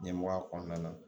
Ɲɛmɔgɔya kɔnɔna na